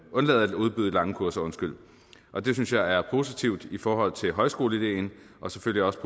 undlade at udbyde lange kurser og det synes jeg er positivt i forhold til højskoleideen og selvfølgelig også